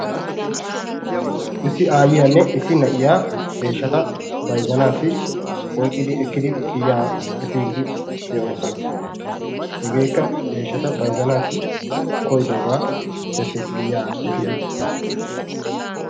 issi aayiyanne deeshata bayzanawu giyaa efiidi de'oosona. hegeekka deeshata bayzanawu koyidoogaa besees giyaa efiidi.